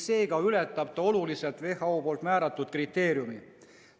See ületab oluliselt WHO määratud kriteeriumi.